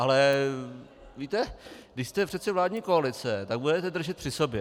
Ale víte, když jste přece vládní koalice, tak budete držet při sobě.